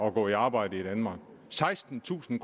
at gå i arbejde i danmark sekstentusind